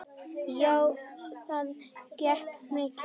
Já, það gekk mikið á.